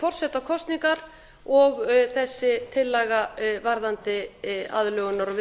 forsetakosningar og þessi tillaga varðandi aðlögunar og